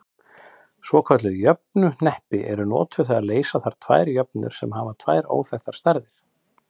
Svokölluð jöfnuhneppi eru notuð þegar leysa þarf tvær jöfnur sem hafa tvær óþekktar stærðir.